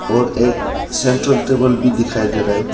और एक central table भी दिखाई दे रहा है।